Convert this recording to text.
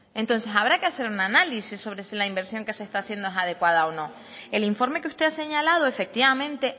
entonces habrá que hacer una análisis sobre si la inversión que se está haciendo es adecuada o no el informe que usted ha señalado efectivamente